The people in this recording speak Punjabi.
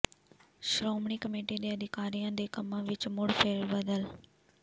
ਸ਼੍ਰੋਮਣੀ ਕਮੇਟੀ ਦੇ ਅਧਿਕਾਰੀਆਂ ਦੇ ਕੰਮਾਂ ਵਿੱਚ ਮੁੜ ਫੇਰਬਦਲ